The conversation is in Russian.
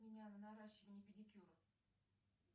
меня на наращивание педикюра